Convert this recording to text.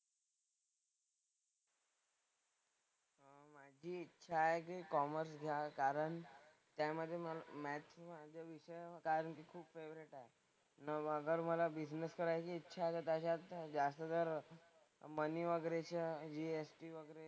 माझी इच्छा आहे की मी कॉमर्स घ्या कारण त्यामधे मॅथ्स विषय खूप फेवरेट आहे. मग अगर मला बिझनेस करायची इच्छा आहे तर त्याच्यात जास्त तर मनी वगैरेच्या GST वगैरे,